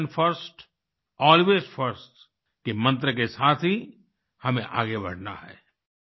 nation first always first के मंत्र के साथ ही हमें आगे बढ़ना है